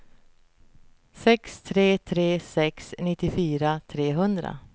sex tre tre sex nittiofyra trehundra